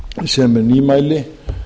sem er nýmæli